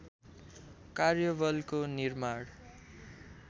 कार्यबलको निर्माण